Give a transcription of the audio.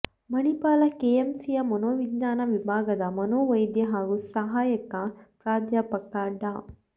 ಮಣಿಪಾಲ ಕೆಎಂಸಿಯ ಮನೋವಿಜ್ಞಾನ ವಿಭಾಗದ ಮನೋವೈದ್ಯ ಹಾಗೂ ಸಹಾಯಕ ಪ್ರಾಧ್ಯಾಪಕ ಡಾ